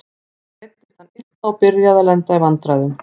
Svo meiddist hann illa og byrjaði að lenda í vandræðum.